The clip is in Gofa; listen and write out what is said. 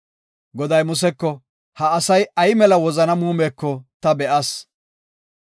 Goday Museko, ha asay ay mela wozana muumeko ta be7as.